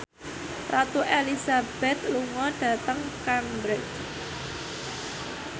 Ratu Elizabeth lunga dhateng Cambridge